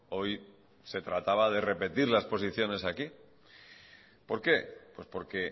hoy se trataba de repetir las posiciones aquí por qué pues porque